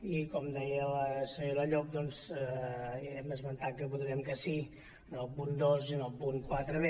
i com deia la senyora llop doncs hem esmentat que votarem que sí en el punt dos i en el punt quatre b